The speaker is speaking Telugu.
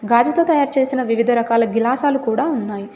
గాజుతో తయారు చేసిన వివిధ రకాల గిలాసాలు కూడా ఉన్నాయ్.